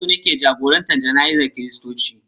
Firist ne ke jagorantar jana'izar Kiristoci.